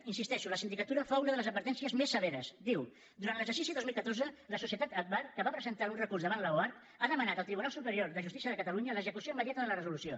hi insisteixo la sindicatura fa una de les advertències més severes diu durant l’exercici dos mil catorze la societat agbar que va presentar un recurs davant l’oarcc ha demanat al tribunal superior de justícia de catalunya l’execució immediata de la resolució